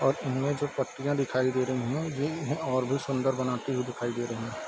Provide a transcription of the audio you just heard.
और इनमे जो पटरिया दिखाई दे रही हैं ये इन्हे और भी सुंदर बनाती हुई दिखाई दे रही हैं ।